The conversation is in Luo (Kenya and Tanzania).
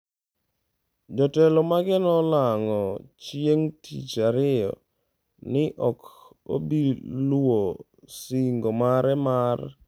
Jotelo mage nolando chieng’ tich ariyo ni ok obi luwo sing’o mare mar neno ni Madam